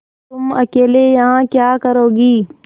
तुम अकेली यहाँ क्या करोगी